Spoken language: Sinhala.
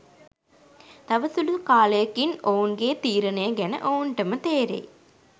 තව සුළු කාලයකින් ඔවුන්ගේ තීරණය ගැන ඔවුන්ටම තේරෙයි